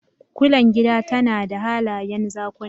Kulen gida tana da halayen Zakuna